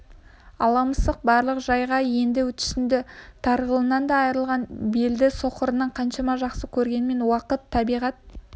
ала мысық барлық жайға енді түсінді тарғылынан да айрылатынын білді соқырын қаншама жақсы көргенімен уақыт табиғат